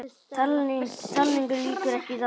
Talningu lýkur ekki í dag